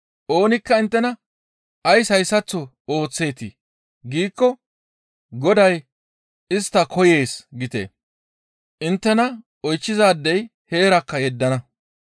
Oonikka inttena, ‹Ays hayssaththo ooththeetii?› giikko ‹Goday istta koyees› giite; inttena oychchizaadey heerakka yeddana.